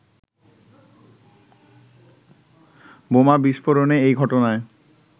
বোমা বিস্ফোরণের এই ঘটনায়